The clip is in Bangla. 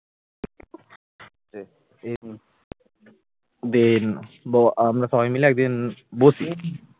then আমরা সবাই মিলে একদিন বসি